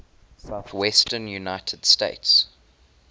southwestern united states